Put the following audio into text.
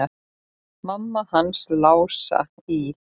Mamma hans Lása í